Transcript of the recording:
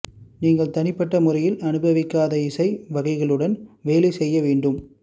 நீங்கள் தனிப்பட்ட முறையில் அனுபவிக்காத இசை வகைகளுடன் வேலை செய்ய வேண்டும்